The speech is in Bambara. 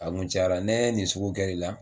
A kun cayara ne nin sugu kɛra i la.